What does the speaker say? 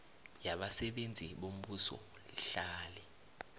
yabasebenzi bombuso lihlale